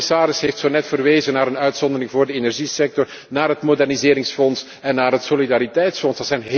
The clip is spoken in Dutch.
De commissaris heeft zonet verwezen naar een uitzondering voor de energiesector, naar het moderniseringsfonds en naar het solidariteitsfonds.